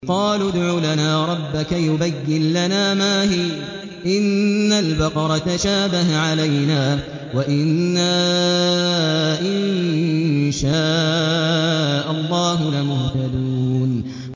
قَالُوا ادْعُ لَنَا رَبَّكَ يُبَيِّن لَّنَا مَا هِيَ إِنَّ الْبَقَرَ تَشَابَهَ عَلَيْنَا وَإِنَّا إِن شَاءَ اللَّهُ لَمُهْتَدُونَ